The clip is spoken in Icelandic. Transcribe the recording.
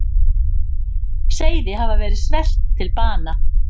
Seiði hafa verið svelt til bana.